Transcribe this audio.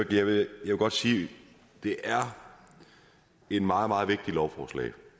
jeg vil godt sige at det er et meget meget vigtigt lovforslag